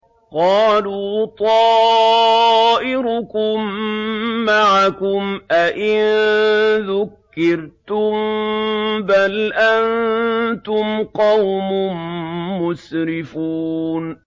قَالُوا طَائِرُكُم مَّعَكُمْ ۚ أَئِن ذُكِّرْتُم ۚ بَلْ أَنتُمْ قَوْمٌ مُّسْرِفُونَ